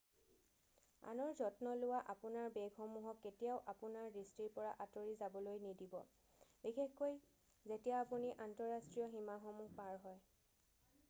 আনৰ যত্ন লোৱা - আপোনাৰ বেগসমূহক কেতিয়াও আপোনাৰ দৃষ্টিৰ পৰা আঁতৰি যাবলৈ নিদিব বিশেষকৈ যেতিয়া আপুনি আন্তঃৰাষ্ট্ৰীয় সীমাসমূহ পাৰ হয়৷